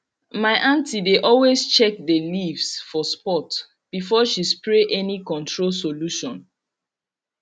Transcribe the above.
my aunty dey always check the leaves for spot before she spray any control solution